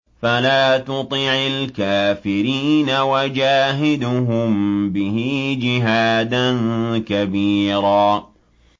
فَلَا تُطِعِ الْكَافِرِينَ وَجَاهِدْهُم بِهِ جِهَادًا كَبِيرًا